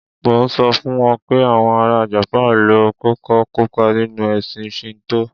Mò ń sọ fún wọn pé àwọn ara Japan ló kọ́kọ́ kópá nínú ẹ̀sìn Shinto.